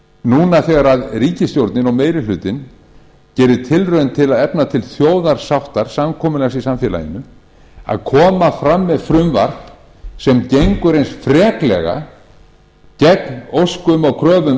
núna þegar ríkisstjórnin og meiri hlutinn gefnir tilraun til að efna til þjóðarsáttar samkomulags í samfélaginu að koma fram með frumvarp sem gengur eins freklega gegn óskum og